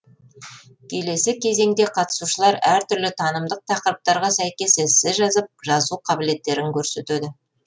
келесі кезеңде қатысушылар әр түрлі танымдық тақырыптарға сәйкес эссе жазып жазу қабілеттерін көрсетеді